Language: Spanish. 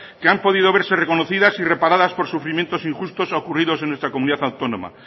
que han podido verse reconocidas y reparadas con sufrimientos injustos ocurridos en nuestra comunidad autónoma